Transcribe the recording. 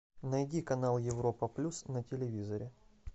найди канал европа плюс на телевизоре